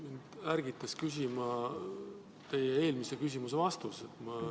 Mind ärgitas küsima teie eelmise küsimuse vastus.